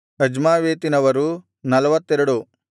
ಅಜ್ಮಾವೆತಿನವರು 42